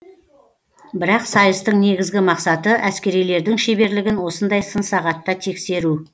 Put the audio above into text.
бірақ сайыстың негізгі мақсаты әскерилердің шеберлігін осындай сын сағатта тексеру